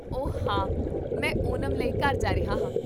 ਓ, ਹਾਂ, ਮੈਂ ਓਨਮ ਲਈ ਘਰ ਜਾ ਰਿਹਾ ਹਾਂ